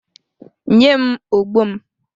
Nye m ogbo m!